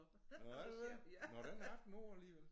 Nåh er det det nåh den er 18 år alligevel